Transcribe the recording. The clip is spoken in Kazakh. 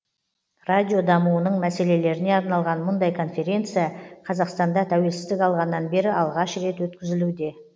радио дамуының мәселелеріне арналған мұндай конференция қазақстанда тәуелсіздік алғаннан бері алғаш рет өткізілуде